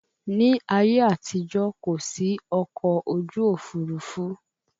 Ní ayé àtijó, kò sí ọkọ̀ ojú òfurufú